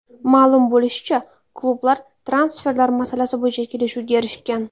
Ma’lum bo‘lishicha, klublar transferlar masalasi bo‘yicha kelishuvga erishgan.